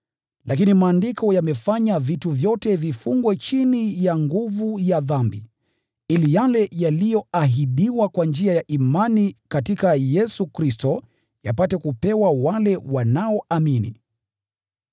Lakini Maandiko yamefanya vitu vyote vifungwe chini ya nguvu ya dhambi, ili yale yaliyoahidiwa kwa njia ya imani katika Yesu Kristo yapate kupewa wale wanaoamini.